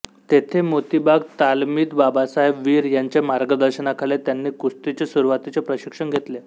तेथे मोतीबाग तालमीत बाबासाहेब वीर यांच्या मार्गदर्शनाखाली त्यांनी कुस्तीचे सुरुवातीचे प्रशिक्षण घेतले